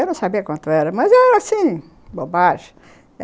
Eu não sabia quanto era, mas era assim, bobagem.